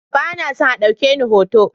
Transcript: Ba na son a ɗauke ni hoto.